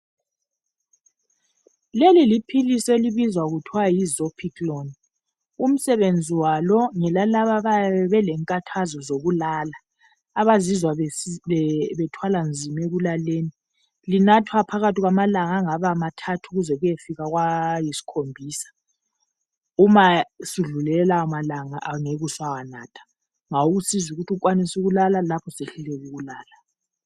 Leli liphilisi elibizwa kuthwa zopiclone umsebenzi walo ngelalaba abayaye belenkathazo zokulala abazizwa bethwala nzima ekulaleni linathwa phakathi kwamalanga angaba mathathu kusiyafika kwayisikhombisa uma sudlule lawa malanga angeke ube usawanatha ukwanise ukulala lapho usehluleka ukulala